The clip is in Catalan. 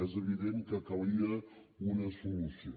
és evident que calia una solució